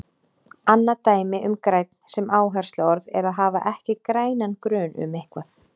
Annað dæmi um grænn sem áhersluorð er að hafa ekki grænan grun um eitthvað.